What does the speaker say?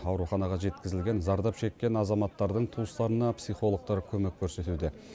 ауруханаға жеткізілген зардап шеккен азаматтардың туыстарына психологтар көмек көрсетуде